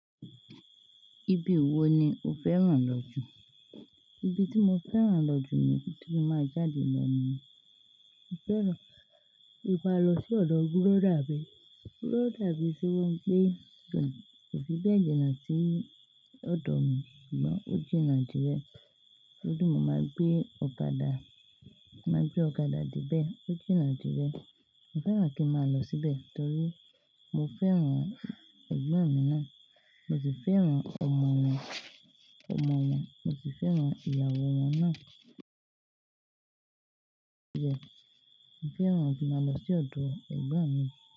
Ibi wo ni o fẹ́ràn lọ jù? Ibi tí mo fẹ́ràn lọ jù ni, tí mo máa jáde lọ ni, mo fẹ́ràn, ki n lọ sí ọ̀dọ̀ búrọ́dà bí, búrọ́dà ibí ti wọ́n gbé jẹ, ò fi bẹ́ẹ̀ jiná sí ọ̀dọ̀ mi, ṣùgbọ́n ó jiná dírẹ́. Lójú mo máa gbé ọ̀kadà, máa gbé ọ̀kadà dé ibẹ̀, ó jiná dírẹ́. Mo fẹ́ràn kí n máa lọ síbẹ̀ torí mo fẹ́ràn ẹ̀gbọ́n mi náà, mo sì fẹ́ràn ọmọ wọn, ọmọ wọn, mo sì fẹ́ràn ìyàwó wọn náà. Ìbẹ̀, mo fẹ́ràn kí n máa lọ sí ọ̀dọ̀ ẹ̀gbọ́n mi.